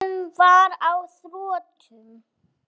Tíminn var á þrotum.